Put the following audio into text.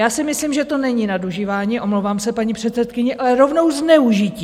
Já si myslím, že to není nadužívání, omlouvám se, paní předsedkyně, ale rovnou zneužití.